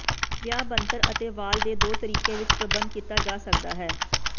ਵਿਆਹ ਬਣਤਰ ਅਤੇ ਵਾਲ ਦੇ ਦੋ ਤਰੀਕੇ ਵਿੱਚ ਪ੍ਰਬੰਧ ਕੀਤਾ ਜਾ ਸਕਦਾ ਹੈ